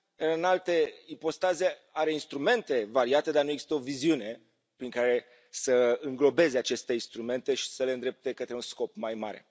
În alte ipostaze, are instrumente variate, dar nu există o viziune prin care să înglobeze aceste instrumente și să le îndrepte către un scop mai mare.